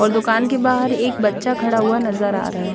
और दूकान के बाहर एक बच्चा खड़ा हुआ नज़र आरा है।